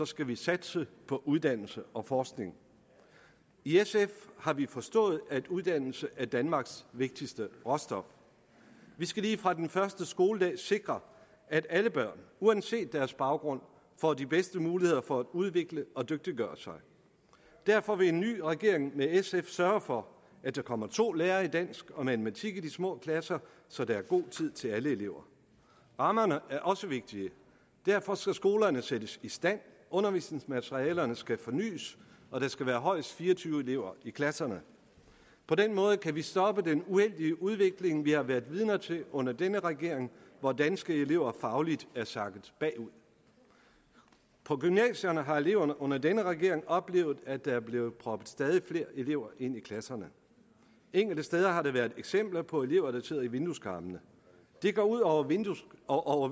skal vi satse på uddannelse og forskning i sf har vi forstået at uddannelse er danmarks vigtigste råstof vi skal lige fra den første skoledag sikre at alle børn uanset deres baggrund får de bedste muligheder for at udvikle og dygtiggøre sig derfor vil en ny regering med sf sørge for at der kommer to lærere i dansk og matematik i de små klasser så der er god tid til alle elever rammerne er også vigtige derfor skal skolerne sættes i stand og undervisningsmaterialerne skal fornys og der skal være højst fire og tyve elever i klasserne på den måde kan vi stoppe den uendelige udvikling vi har været vidner til under denne regering hvor danske elever fagligt er sakket bagud på gymnasierne har eleverne under denne regering oplevet at der er blevet proppet stadig flere elever ind i klasserne enkelte steder har der været eksempler på at elever sidder i vindueskarmene det går ud over vindueskarmene og